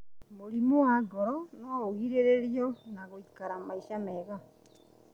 Mũrimũ wa ngoro noũgirĩrĩrio na gũikara maica mega